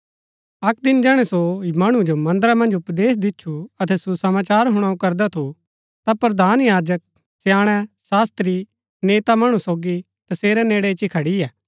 अक्क दिन जैहणै सो मणु जो मन्दरा मन्ज उपदेश दिच्छु अतै सुसमाचार हुणाऊ करदा थू ता प्रधान याजक स्याणै शास्त्री नेता मणु सोगी तसेरै नेड़ै इच्ची खड़ियै